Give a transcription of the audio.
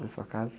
Na sua casa?